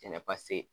Jɛnɛba se